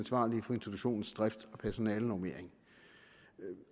for institutionens drift og personalenormering